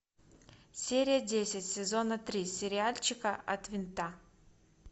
серия десять сезона три сериальчика от винта